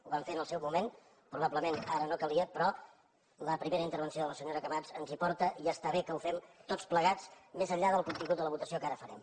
ho vam fer en el seu moment probablement ara no calia però la primera intervenció de la senyora camats ens hi porta i està bé que ho fem tots plegats més enllà del contingut de la votació que ara farem